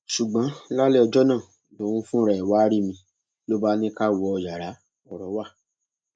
ṣùgbọn lálẹ ọjọ náà lòun fúnra ẹ wàá rí mi ló bá ní ká wọ yàrá ọrọ wa